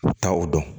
U bɛ taa o dɔn